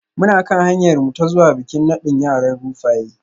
Muna kan hanyarmu ta zuwa bikin nadin yaran Rufaye